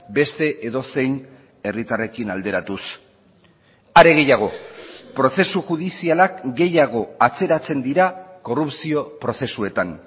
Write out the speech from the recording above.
beste edozein herritarrekin alderatuz are gehiago prozesu judizialak gehiago atzeratzen dira korrupzio prozesuetan